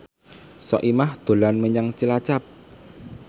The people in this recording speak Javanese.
Soimah dolan menyang Cilacap